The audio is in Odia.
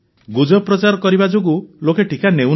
ଗୁଜବ ପ୍ରଚାର କରିବା ଯୋଗୁଁ ଲୋକେ ଟିକା ନେଉନାହାନ୍ତି